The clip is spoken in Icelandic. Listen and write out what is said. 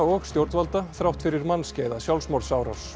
og stjórnvalda þrátt fyrir mannskæða sjálfsmorðsárás